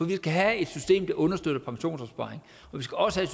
vi skal have et system der understøtter pensionsopsparing og vi skal også have